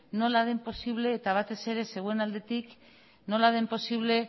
nola den posible eta batez ere zeuen aldetik nola den posible